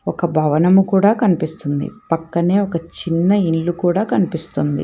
ఒక భవనము కూడా కనిపిస్తుంది పక్కనే ఒక చిన్న ఇల్లు కూడా కనిపిస్తుంది.